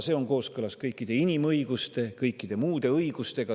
See on kooskõlas kõikide inimõiguste ja kõikide muude õigustega.